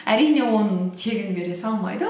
әрине оны тегін бере салмайды